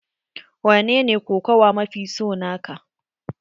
Wanene kokawa mafi so na ka?